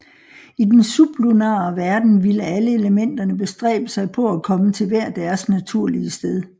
I den sublunare verden ville alle elementerne bestræbe sig på at komme til hver deres naturlige sted